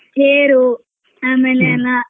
ತೇರು ಆಮೇಲೆ ಎಲ್ಲಾ.